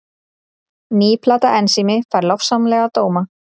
Ný plata Ensími fær lofsamlega dóma